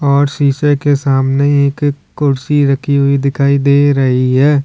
और शीशे के सामने एक एक कुर्सी रखी हुई दिखाई दे रही है।